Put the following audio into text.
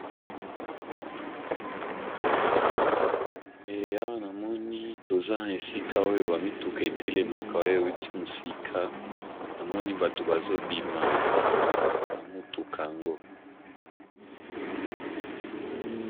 Awa na moni toza esika oyo ba mituka e telemaka oyo e wuti mosika, na moni bato bazo bima na mutuka yango .